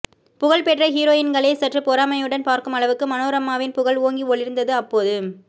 புகழ் பெற்ற ஹீரோயின்களே சற்று பொறாமையுடன் பார்க்கும் அளவுக்கு மனோரமாவின் புகழ் ஓங்கி ஒளிர்ந்தது அப்போது